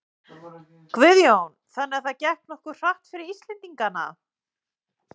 Guðjón: Þannig að það gekk nokkuð hratt fyrir Íslendingana?